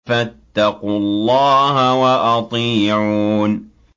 فَاتَّقُوا اللَّهَ وَأَطِيعُونِ